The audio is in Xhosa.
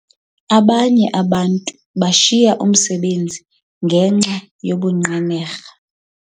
Abanye abantu bashiya umsebenzi ngenxa yobunqenerha.